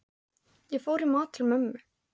Ég fór í mat til mömmu.